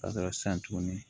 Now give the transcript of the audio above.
Ka dɔrɔn san tuguni